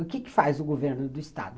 O que faz o governo do estado?